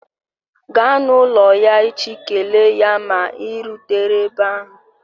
Gaa n'ụlọ ya echi kelee ya ma ị rutere ebe ahụ